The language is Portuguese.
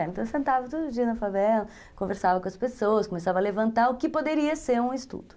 Então eu sentava todo dia na favela, conversava com as pessoas, começava a levantar o que poderia ser um estudo.